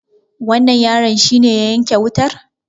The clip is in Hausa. wannan yaron shi ne ya yanke wutar?